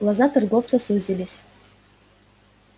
глаза торговца сузились